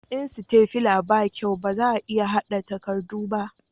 in sitafila ba kyau ba za a iya hada takardu ba